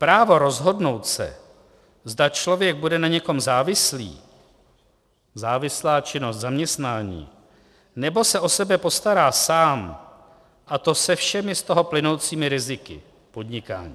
Právo rozhodnout se, zda člověk bude na někom závislý - závislá činnost, zaměstnání -, nebo se o sebe postará sám, a to se všemi z toho plynoucími riziky - podnikání.